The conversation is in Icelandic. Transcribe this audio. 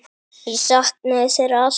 Ég saknaði þeirra alltaf.